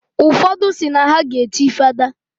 Ụfodụ si na ha ga echi fada.